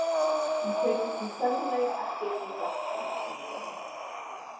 Ég kveikti svo sannarlega ekki í verksmiðjunni.